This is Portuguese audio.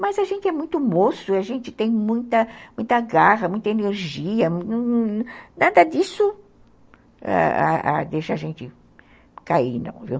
Mas a gente é muito moço, a gente tem muita muita garra, muita energia, nada disso ãh ãh deixa a gente cair, não, viu?